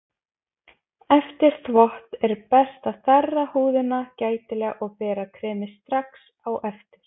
Eftir þvott er best að þerra húðina gætilega og bera kremið strax á eftir.